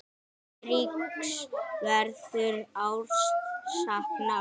Eiríks verður sárt saknað.